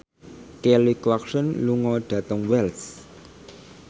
Kelly Clarkson lunga dhateng Wells